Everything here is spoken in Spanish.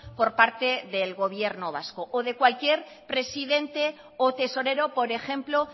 por parte del gobierno vasco o de cualquier presidente o tesorero por ejemplo